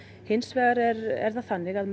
hins vegar er það þannig að